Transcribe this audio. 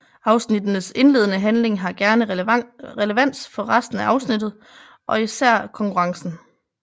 Afsnittenes indledende handling har gerne relevans for resten afsnittet og især konkurrencen